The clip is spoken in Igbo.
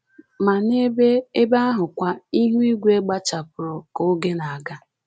Ma n’ebe n’ebe ahụkwa, ihu igwe gbachapụrụ ka oge na-aga